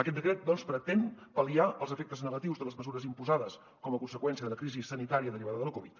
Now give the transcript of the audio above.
aquest decret doncs pretén pal·liar els efectes negatius de les mesures imposades com a conseqüència de la crisi sanitària derivada de la covid